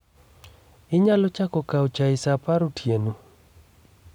Inyalo chako kawo chai sa apar otieno?